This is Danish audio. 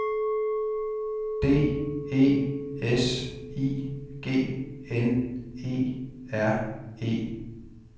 D E S I G N E R E